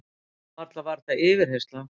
Varla var þetta yfirheyrsla?